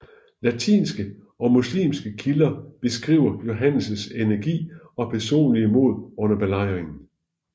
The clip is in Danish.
Latinske og muslimske kilder beskriver Johannes energi og personlige mod under belejringen